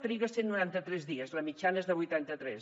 triga cent i noranta tres dies la mitjana és de vuitanta tres